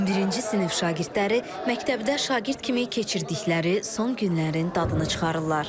11-ci sinif şagirdləri məktəbdə şagird kimi keçirdikləri son günlərin dadını çıxarırlar.